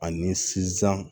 Ani sizan